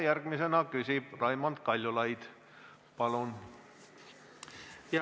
Järgmisena küsib Raimond Kaljulaid, palun!